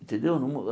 Entendeu? Não uh